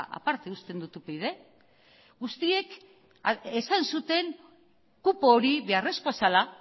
aparte uzten dut upyd guztiek esan zuten kupo hori beharrezkoa zela